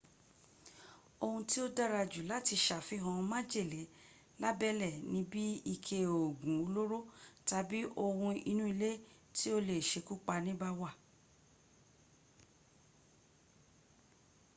ohun tí ó dára jù láti sàfihàn májèle lábẹ́lẹ́ ni bí ike òògùn olóró tàbí ohun inú ilé tí ó le sekúpani bá wà